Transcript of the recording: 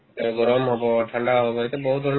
এই গৰম হ'ব ঠাণ্ডা হ'ব এতিয়া বহুত ধৰণৰ